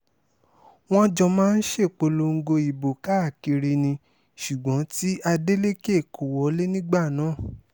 wọ́n jọ máa ń ṣèpolongo ìbò káàkiri ni ṣùgbọ́n tí adeleke kò wọlé nígbà náà